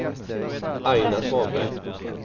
Aina Svanberg